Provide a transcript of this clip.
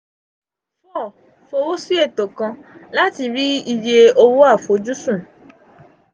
four fo wo si eto kan lati ri iye owo afojusun.